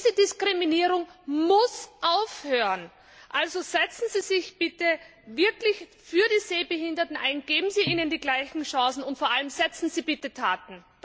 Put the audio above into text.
Diese Diskriminierung muss aufhören! Also setzen sie sich bitte wirklich für die Sehbehinderten ein, geben Sie ihnen die gleichen Chancen und vor allem, setzen Sie bitte Taten!